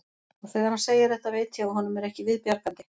Og þegar hann segir þetta veit ég að honum er ekki við bjargandi.